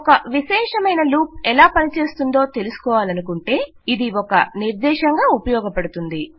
ఒక విశేషమయిన లూప్ ఎలా పని చేస్తుందో తెలుసుకోవాలనుకుంటే ఇది ఒక నిర్దేశంగా ఉపయోగపడుతుంది